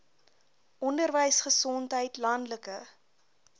onderwys gesondheid landelike